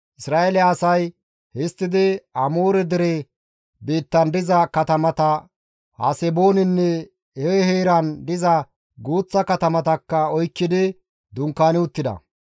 Isra7eele asay histtidi Amoore dere biittan diza katamata Haseboonenne he heeran diza guuththa katamatakka oykkidi dunkaani uttida.